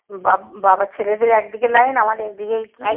বাবার ছেলেদের একদিকে লাইন আমাদের একদিকেই